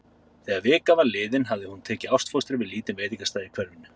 Þegar vika var liðin hafði hún tekið ástfóstri við lítinn veitingastað í hverfinu.